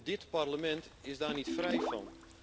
En dit Parlement is daar niet vrij van.